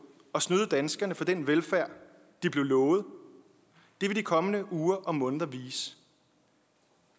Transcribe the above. og snyde danskerne for den velfærd de blev lovet vil de kommende uger og måneder vise